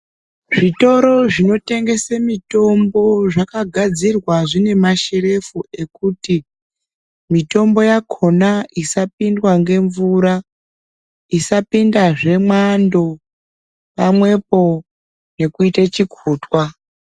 Zvitoro zvinotengese mitombo zvakagadzirwa zvine masherefu ekuti mitombo yakhona isapindwa ngemvura, isapindazve mwando pamwepo ngekuite chikhutwa.